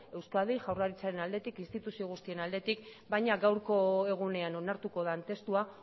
euskadi jaurlaritzaren aldetik instituzio guztien aldetik baina gaurko egunean onartuko den testua